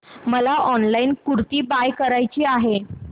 मला online kurti buy करायची आहे